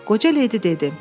Qoca leydi dedi: